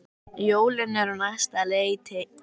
Jólin eru á næsta leiti.